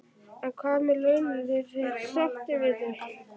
En hvað með launin, eru þeir sáttir við þau?